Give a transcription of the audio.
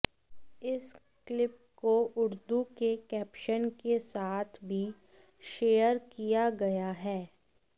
इस क्लिप को उर्दू के कैप्शन के साथ भी शेयर किया गया है